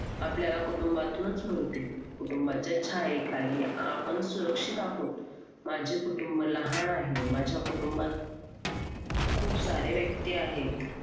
आपल्याला कुटुंबातूनच मिळते कुटुंबाच्या छायेखाली आपण सुरक्षित आहोत माझे कुटुंब लहान आहे माझ्या कुटुंबात खूप सारे व्यक्ती आहेत